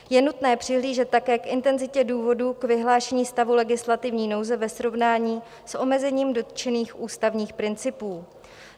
Je nutné přihlížet také k intenzitě důvodů k vyhlášení stavu legislativní nouze ve srovnání s omezením dotčených ústavních principů.